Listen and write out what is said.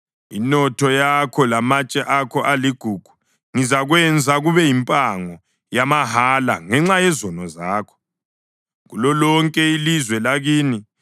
Inotho yakho lamatshe akho aligugu ngizakwenza kube yimpango, yamahala, ngenxa yezono zakho kulolonke ilizwe lakini.